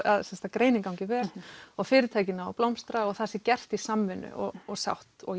greinin gangi vel og fyrirtækin nái að blómstra og það gerist í samvinnu og sátt og